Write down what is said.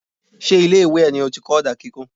Ṣé ilé ìwé ẹ ní ó ti kọ́ ọ̀dà kíkùn.?